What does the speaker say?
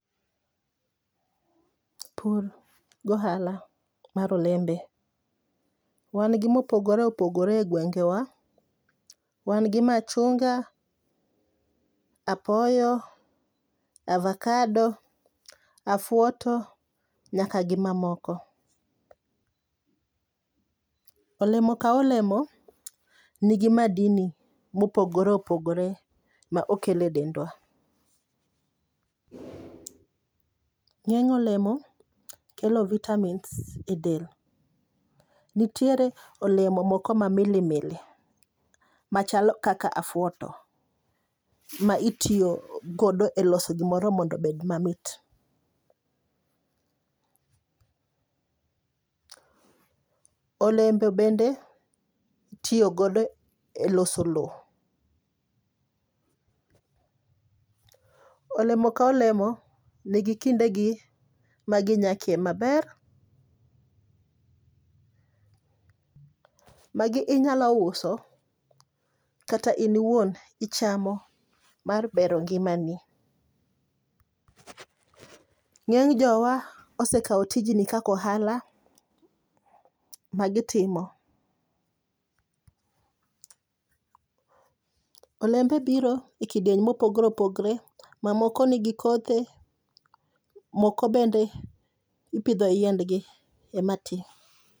Pur gohala mar olembe. Wan gi mopogore opogore e gwengewa. Wan gi machunga, apoyo, avacado, afuoto nyaka gimamoko. Olemo ka olemo, nigi madini mopogore opogore ma okele e dendwa. Ng'eny olemo kelo vitamins e del. Nitiere olemo moko mamili mili machalo kaka afuoto, ma itiyo godo e loso gimoro mondo obed mamit. Olemo bende itiyo godo e loso loo. Olemo ka olemo nigi kindegi maginyakie maber. Magi inyalo uso kata in iwuon ichamo mar bero ngimani. Ng'eny jowa osekao tijni kaka ohala magitimo. Olembe biro e kidieny mopogore opogore mamoko nigi kothe, moko bende ipidho yiendgi ema tii.